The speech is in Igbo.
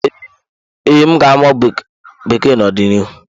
Ee, m ga-amụ Bekee n'ọdịnihu.